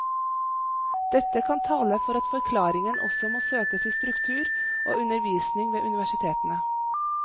Dette kan tale for at forklaringen også må søkes i struktur og undervisning ved universitetene.